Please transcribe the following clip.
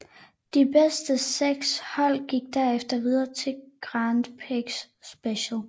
De bedste seks hold gik herefter videre til Grand Prix Special